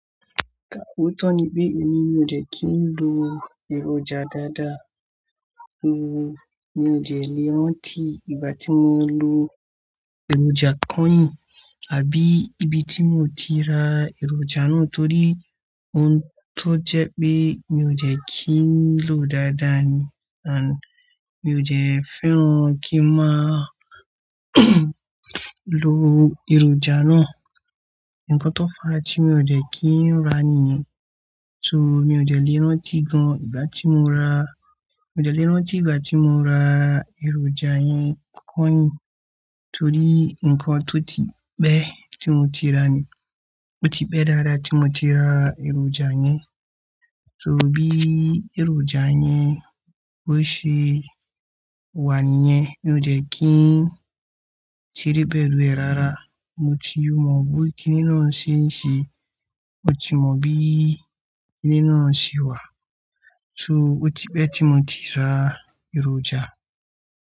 Ka òótọ́ ni pé èmi ò dẹ́ kí ń lo èròjà dáadáa. So mi ò dè lè rántí ìgbà tí mo lo èròjà kányìn àbí ibi tí mo ti ra èròjà náà torí ohun tó jẹ́ pé mi ò jẹ́ kí ń lòó dáadáa ni and mi ò jẹ́ fẹ́ràn kí má lo èròjà náà, nǹkan tó fà tí mi ò dè kí n rà nìyẹn. So mi ò dè lè rántí gan ìgbà tí mo rà, mo dè lè rántí ìgbà tí mo rà èròjà yẹn kányìn torí nǹkan tó ti pẹ́ tí mo ti rà ni ó ti pẹ́ dááda tí mo ti rà èròjà ni so bí èròjà yẹn ó ṣe wà níyẹn, mi ò jẹ́ kí ń ṣeré pẹ̀lú ẹ̀ rárá. Mo ti mọ̀ bí kiní náà ṣe ń ṣe, mo ti mọ̀ bí kiní náà ṣe wà. So ó ti pẹ́ tí mo ti ra èròjà.